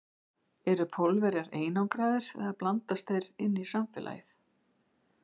En eru Pólverjarnir einangraðir eða blandast þeir inn í samfélagið?